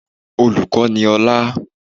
Olùkọ́ ni ọlá